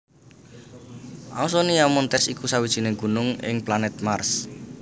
Ausonia Montes iku sawijining gunung ing planèt Mars